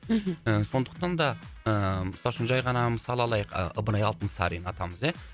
мхм сондықтан да ыыы мысалы үшін жай ғана мысал алайық ы ыбырай алтынсарин атамыз ия